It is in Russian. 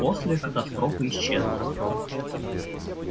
после катастрофы исчезла